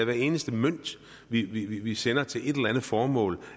hver eneste mønt vi vi sender til et eller andet formål